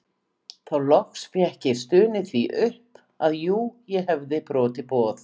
Þá loks fékk ég stunið því upp að jú ég hefði brotið boð